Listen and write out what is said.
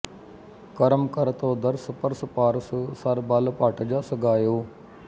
ਕਰਮਿ ਕਰਿ ਤੂਅ ਦਰਸ ਪਰਸ ਪਾਰਸ ਸਰ ਬਲ ਭਟ ਜਸੁ ਗਾਇਯਉ